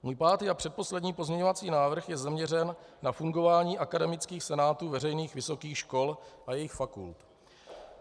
Můj pátý a předposlední pozměňovací návrh je zaměřen na fungování akademických senátů veřejných vysokých škol a jejich fakult.